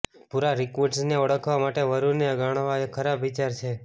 ભૂરા રિકવુડસને ઓળખવા માટે વરુને ગણવા એ ખરાબ વિચાર છે